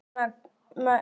Hún er með langar neglur.